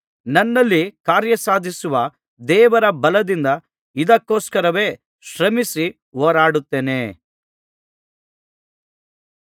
ನನ್ನಲ್ಲಿ ಕಾರ್ಯಸಾಧಿಸುವ ದೇವರ ಬಲದಿಂದ ಇದಕ್ಕೊಸ್ಕರವೇ ಶ್ರಮಿಸಿ ಹೋರಾಡುತ್ತೇನೆ